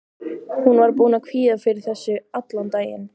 Hún var búin að kvíða fyrir þessu allan daginn.